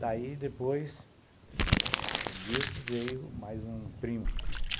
Daí, depois disso, veio mais um primo.